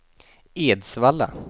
Edsvalla